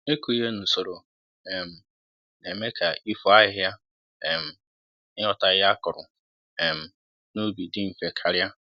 ịkụ Ihe nusoro um n'eme ka ifo ahịhịa um na ighota ihe akụrụ um n'ubi dị mfe karịa